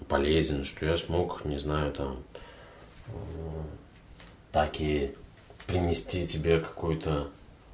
полезен что я смог не знаю там такие принести тебе какой-то